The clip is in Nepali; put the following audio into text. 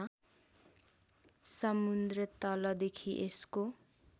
समुद्रतलदेखि यसको